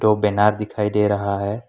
और बैनर दिखाई दे रहा है।